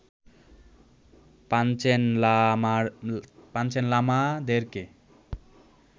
Panchen লামাদেরকে